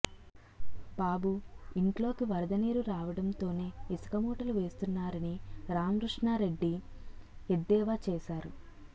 బాబు ఇంట్లోకి వరద నీరు రావడంతోనే ఇసుక మూటలు వేస్తున్నారని రామృష్ణారెడ్డి ఎద్దేవా చేశారు